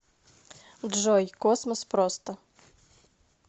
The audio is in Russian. джой космос просто